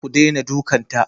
Ku dena dukan ta!